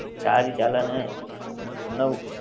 સરી ચાલે ને નવું